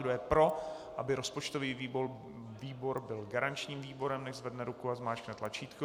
Kdo je pro, aby rozpočtový výbor byl garančním výborem, nechť zvedne ruku a zmáčkne tlačítko.